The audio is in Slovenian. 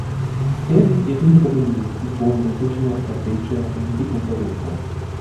S tem je tudi utemeljil izbor letošnje rdeče niti konference.